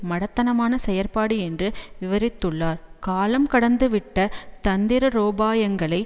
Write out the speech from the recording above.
மடத்தனமான செயற்பாடு என்று விவரித்துள்ளார் காலம் கடந்து விட்ட தந்திரோபாயங்களை